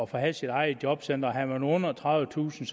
for at have sit eget jobcenter havde man under tredivetusind